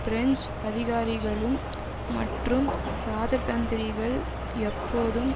French அதிகாரிகளும் மற்றும் இராஜதந்திரிகள் எப்போதும்